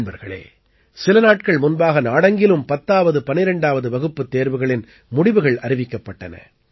நண்பர்களே சில நாட்கள் முன்பாக நாடெங்கிலும் 10ஆவது 12ஆவது வகுப்புத் தேர்வுகளின் முடிவுகள் அறிவிக்கப்பட்டன